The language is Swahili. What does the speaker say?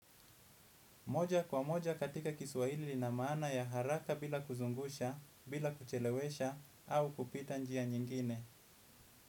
Moja kwa moja katika kiswahili ina maana ya haraka bila kuzungusha, bila kuchelewesha, au kupita njia nyingine.